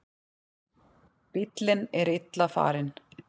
Bíllinn er illa farinn.